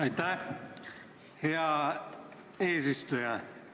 Aitäh, hea eesistuja!